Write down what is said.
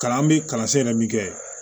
Kalan bɛ kalansen yɛrɛ min kɛ